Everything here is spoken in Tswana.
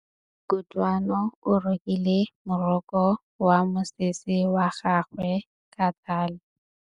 Kutlwanô o rokile morokô wa mosese wa gagwe ka tlhale.